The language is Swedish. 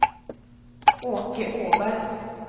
Åke Åberg